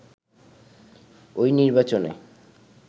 ওই নির্বাচনে